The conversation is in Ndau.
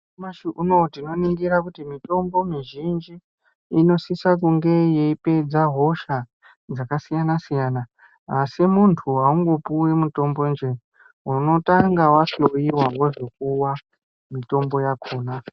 Nyamashi uno tinoningira kuti mitombo mizhinji inosisa kunge yeipedza hosha dzakasiyanasiyana asi muntu aungopuwi mutombo njee, unotanga wahloyiwa wozopuwa mitombo yakona.